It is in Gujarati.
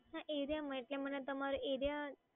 હા એરિયા માં એટલે મને તમારો એરિયા